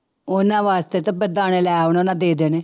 ਉਹਨਾਂ ਵਾਸਤੇ ਤਾਂ ਦਾਣੇ ਲੈ ਉਹਨਾਂ ਨੇ ਦੇ ਦੇਣੇ